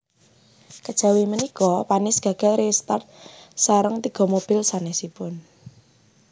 Kejawi punika Panis gagal re start sareng tiga mobil sanèsipun